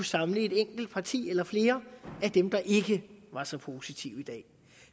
samle et enkelt parti eller flere af dem der ikke var så positive i dag